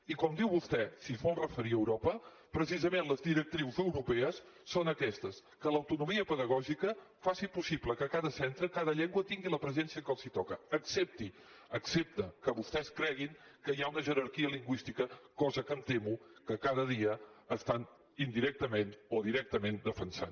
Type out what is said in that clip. i com diu vostè si es vol referir a europa precisament les directrius europees són aquestes que l’autonomia pedagògica faci possible que a cada centre cada llengua tingui la presència que els toca excepte que vostès creguin que hi ha una jerarquia lingüística cosa que em temo que cada dia estan indirectament o directament defensant